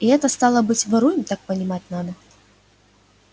и это стало быть воруем так понимать надо